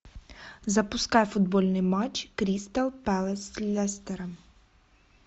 запускай футбольный матч кристал пэлас с лестером